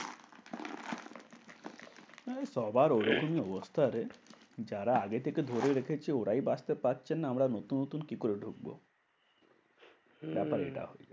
হ্যাঁ সবার ওরকমই অবস্থা রে। যারা আগে থেকে ধরে রেখেছে ওরাই বাঁচতে পারছে না। আমরা নতুন নতুন কি করে ঢুকবো? হম ব্যাপার এটা।